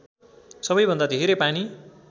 सबैभन्दा धेरै पानी